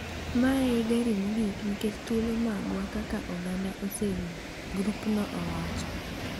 “Ma e gari mogik nikech thuolo magwa kaka oganda oserumo,” grupno wacho.